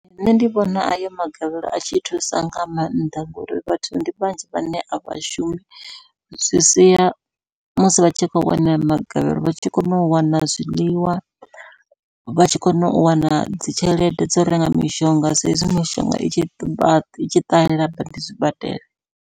Nṋe ndi vhona ayo magavhelo a tshi thusa nga maanḓa, ngori vhathu ndi vhanzhi vhane a vhashumi. Zwi sia musi vha tshi kho wana magavhelo vha tshi kona u wana zwiḽiwa, vha tshi kona u wana dzi tshelede dzo renga mishonga sa izwi mishonga i tshi ṱahela badi zwibadela.